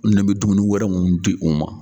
Ne bɛ dumuni wɛrɛ minnu di u ma